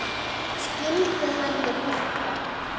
Skildu hann og Gugga?